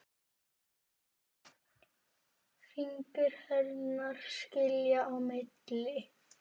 Fingur hennar skilja á milli.